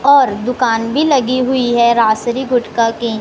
और दुकान भी लगी हुई है राजश्री गुटखा की--